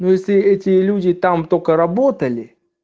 ну если эти люди там только работали